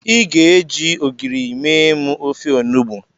I ga-eji ogiri mee m ofe onugbo.